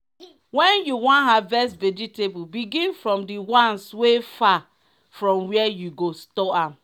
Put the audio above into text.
when you wan harvest vegetable begin from the ones wey far from where you go store am.